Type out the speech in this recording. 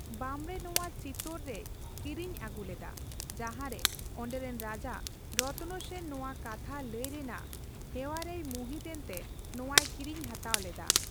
ᱵᱟᱢᱽᱲᱮ ᱱᱚᱣᱟ ᱪᱤᱛᱳᱨ ᱨᱮᱭ ᱠᱤᱨᱤᱧ ᱟᱹᱜᱩ ᱞᱮᱫᱟ, ᱡᱟᱦᱟᱨᱮ ᱚᱸᱰᱮᱨᱮᱱ ᱨᱟᱡᱟ ᱨᱚᱛᱱ ᱥᱮᱱ ᱱᱚᱣᱟ ᱠᱟᱛᱷᱟ ᱞᱟᱹᱭ ᱨᱮᱱᱟᱜ ᱦᱮᱣᱟᱨᱮᱭ ᱢᱩᱦᱤᱛ ᱮᱱᱛᱮ ᱱᱚᱣᱟᱭ ᱠᱤᱨᱤᱧ ᱦᱟᱛᱟᱣ ᱞᱮᱫᱟ ᱾